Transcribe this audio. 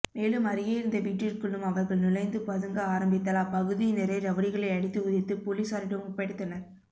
மேலும் அருகே இருந்த வீட்டிற்குள்ளும் அவர்கள் நுழைந்து பதுங்க ஆரம்பித்தால் அப்பகுதியினரே ரவுடிகளை அடித்து உதைத்து போலீசாரிடம் ஒப்படைத்தனர்